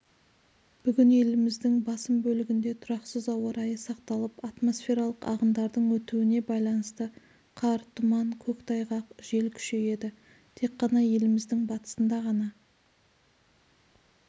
бүгін еліміздіңбасым бөлігінде тұрақсыз ауа райы сақталып атмосфералық ағындардың өтуіне байланысты қар тұман көктайғақ жел күшейеді тек қана еліміздің батысында ғана